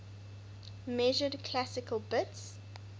measured classical bits